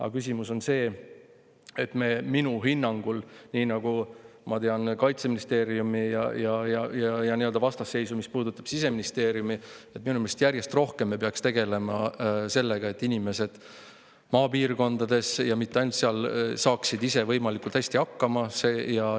Aga küsimus on minu hinnangul selles, nii nagu ma tean, mis puudutab Kaitseministeeriumi ja Siseministeeriumi nii-öelda vastasseisu, et minu meelest järjest rohkem me peaks tegelema sellega, et inimesed maapiirkondades, ja mitte ainult seal, saaksid ise võimalikult hästi hakkama.